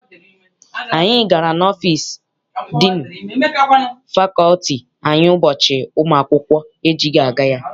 Anyị gara n'ọfịịsi diinu fakọlti anyị ụbọchị ụmụ akwụkwọ ejighị aga ya.